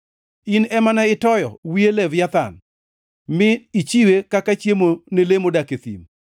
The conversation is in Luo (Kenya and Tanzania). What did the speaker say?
In ema ne itoyo wiye Leviathan, mi ichiwe kaka chiemo ne le modak e thim.